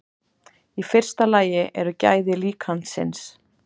Í fyrsta lagi eru gæði líkansins.